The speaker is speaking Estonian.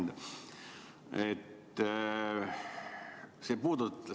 Hea ettekandja!